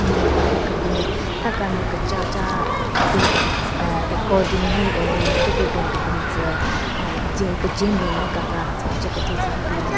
Ne hika hyu kebin tha kanyü kechacha pe aa accordingly arrange thyu pe ben kebin tsü aa jwen kejwen ben nden kaka tsü hon che kethyu tsü hyu binyon.